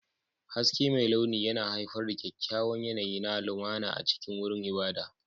Haske mai launi yana haifar da kyakkyawan yanayi na lumana a cikin wurin ibada.